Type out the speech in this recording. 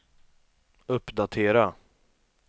uppdatera